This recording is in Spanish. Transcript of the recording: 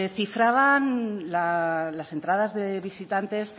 cifraban las entradas de visitantes